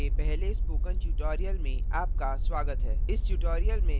c program के पहले spoken tutorial में आपका स्वागत है